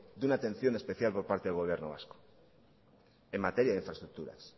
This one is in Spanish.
de una atención especial por parte del gobierno vasco en materia de infraestructuras